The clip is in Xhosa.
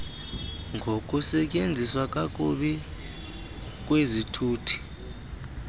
ngokusetyenziswa kakubi kwezithuthi